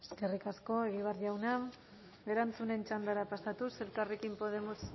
eskerrik asko egibar jauna erantzunen txandara pasatuz elkarrekin podemos